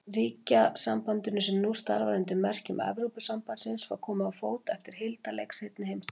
Ríkjasambandinu, sem nú starfar undir merkjum Evrópusambandsins, var komið á fót eftir hildarleik seinni heimsstyrjaldar.